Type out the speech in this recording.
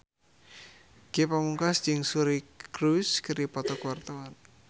Ge Pamungkas jeung Suri Cruise keur dipoto ku wartawan